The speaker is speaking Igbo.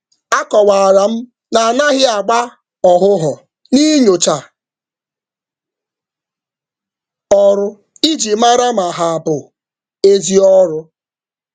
M kọwara na oge achọrọ maka nyocha mma enweghị ike ịgbasa.